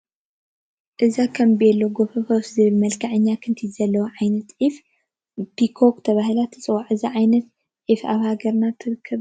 እዛ ከም ቤሎ ጐፈፈፍ ዝብል መልክዓኛ ክንቲት ዘለዋ ዓይነት ዒፍ ፒኮክ ተባሂላ ትፅዋዕ፡፡ እዛ ዓይነት ዒፍ ኣብ ሃገርና ትርከብ ዶ?